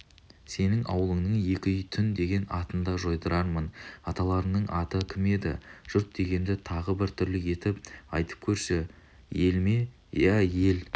сенің ауылыңның екі үй түн деген атын да жойдырармын аталарыңның аты кім еді жұрт дегенді тағы бір түрлі етіп айтып көрші ел ме иә ие ел